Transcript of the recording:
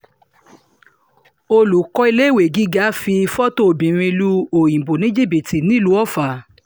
olùkọ́ iléèwé gíga fi fọ́tò obìnrin lu òyìnbó ní jìbìtì nílùú ọfà